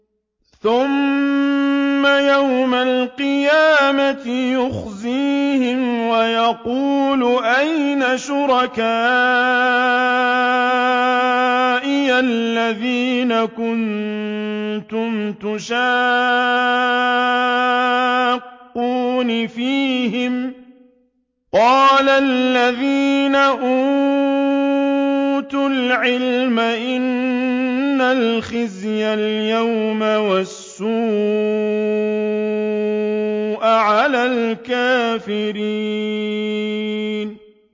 ثُمَّ يَوْمَ الْقِيَامَةِ يُخْزِيهِمْ وَيَقُولُ أَيْنَ شُرَكَائِيَ الَّذِينَ كُنتُمْ تُشَاقُّونَ فِيهِمْ ۚ قَالَ الَّذِينَ أُوتُوا الْعِلْمَ إِنَّ الْخِزْيَ الْيَوْمَ وَالسُّوءَ عَلَى الْكَافِرِينَ